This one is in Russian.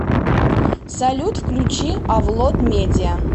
салют включи авлод медиа